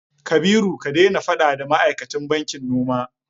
Kabiru ka daina faɗa da ma'aikatan bankin noma!